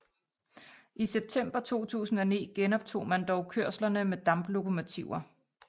I september 2009 genoptog man dog kørslerne med damplokomotiver